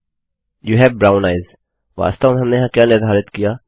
you have brown eyes वास्तव में हमने यहाँ क्या निर्धारित किया